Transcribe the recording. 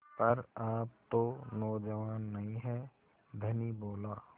पर आप तो नौजवान नहीं हैं धनी बोला